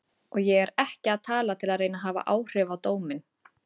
Og ég er ekki að tala til að reyna að hafa áhrif á dóminn.